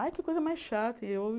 Ai, que coisa mais chata. E